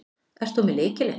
Ert þú með lykilinn?